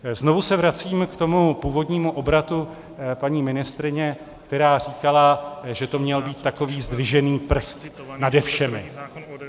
Znovu se vracím k tomu původnímu obratu paní ministryně, která říkala, že to měl být takový zdvižený prst nade všemi.